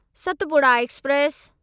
Satpura express